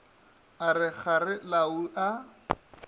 a re kgare lau a